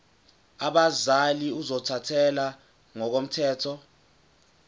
abazali ozothathele ngokomthetho